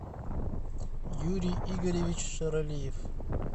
юрий игоревич шаралиев